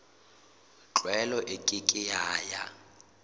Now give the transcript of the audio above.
tlwaelo e ke ke ya